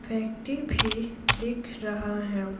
व्यक्ति भी दिख रहा है।